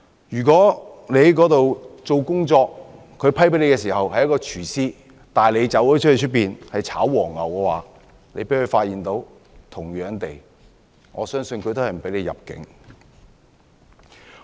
如果他獲批簽證時他的工作是廚師，但他卻在當地"炒黃牛"，被當局發現的話，我相信他也不會獲准入境。